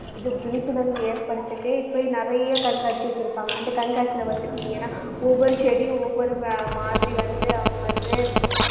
இது விழிப்புணர்வு இப்படி நிறைய கண்காட்சி வச்சிருப்பாங்க. அந்த கண்காட்சியில ஒவ்வொரு செடியும் ஒவ்வொரு மா~ மாதிரி வந்து அவங்க வந்து